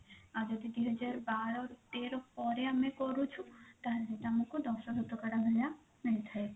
ଆଉ ଯଦି ଦୁଇ ହଜାର ବାର ତେର ପରେ ଆମେ କରୁଛୁ ତାହେଲେ ସେଟା ଆମକୁ ଦଶ ଶତକଡା ଭଳିଆ ମିଳିଥାଏ